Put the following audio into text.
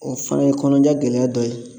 O fana ye kɔnɔja gɛlɛya dɔ ye